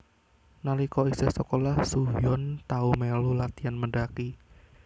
Nalika isih sekolah Soo Hyun tau melu latian mendaki